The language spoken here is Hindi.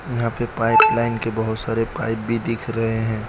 यहां पे पाइप लाइन के बहोत सारे पाइप भी दिख रहे हैं।